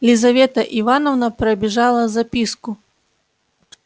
лизавета ивановна пробежала записку